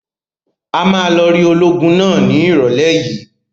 A máa lọ rí ológun náà ní ìrọ́lẹ́ yìí.